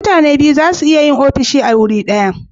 mutane biyu zasu iya yin ofishi a guri daya